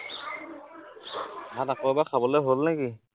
ভাত আকৌ এবাৰ খাবলে হল নে কি?